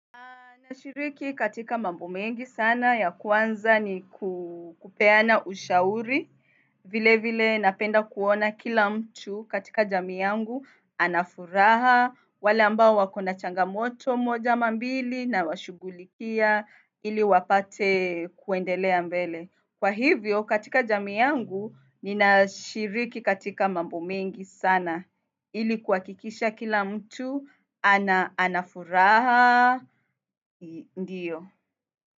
Aaaaaaa nashiriki katika mambo mengi sana ya kwanza ni ku peana ushauri. Vile vile napenda kuona kila mtu katika jamii yangu anafuraha wale ambao wako na changamoto moja ama mbili na washugulikia ili wapate kuendelea mbele. Kwa hivyo katika jamii yangu nina shiriki katika mambo mengi sana ili kuhakikisha kila mtu ana anafuraha ndio.